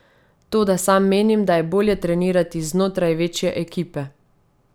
Toda sam menim, da je bolje trenirati znotraj večje ekipe.